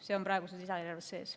See on praeguses lisaeelarves sees.